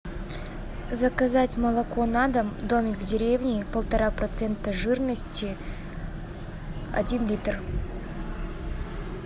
заказать молоко на дом домик в деревне полтора процента жирности один литр